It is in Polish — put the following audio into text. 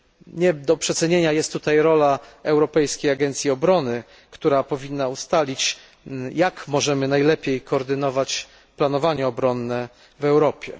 Nie do przecenienia jest tutaj rola Europejskiej Agencji Obrony, która powinna ustalić, jak możemy najlepiej koordynować planowanie obronne w Europie.